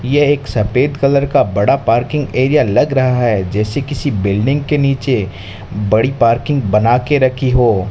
यह एक सफेद कलर का बड़ा पार्किंग एरिया लग रहा है जैसे किसी बिल्डिंग के नीचे बड़ी पार्किंग बना के रखी हो।